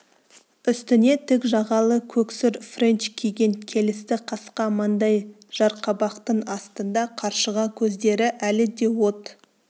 үстіне тік жағалы көксұр френч киген келісті қасқа маңдай жарқабақтың астында қаршыға көздері әлі де от